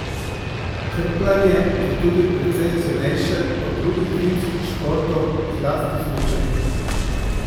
Krpljanje je tudi precej cenejše od drugih zimskih športov, zlasti smučanja.